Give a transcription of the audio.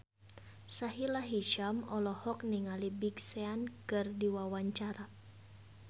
Sahila Hisyam olohok ningali Big Sean keur diwawancara